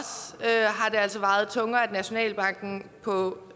har det altså vejet tungere at nationalbanken på